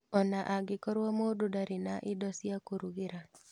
Ona angĩkorwo mũndũ ndarĩ na indo cia kũrugĩra